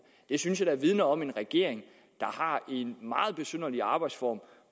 det synes jeg da vidner om en regering der har en meget besynderlig arbejdsform